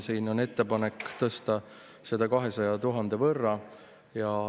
Meil on ettepanek tõsta seda 200 000 võrra.